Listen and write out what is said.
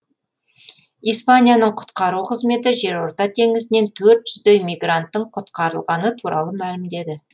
испанияның құтқару қызметі жерорта теңізінен төрт жүздей мигранттың құтқарылғаны туралы мәлімдеді